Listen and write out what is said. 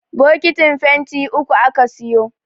bokitin fenti uku aka siyo